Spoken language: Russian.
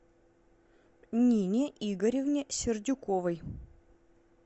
нине игоревне сердюковой